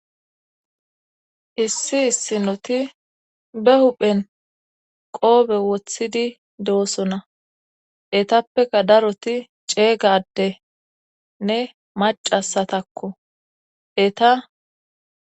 Issi issinoti be huphen qoobe wothidi deosona etappeka daroti ceegaddenne macasatakko eta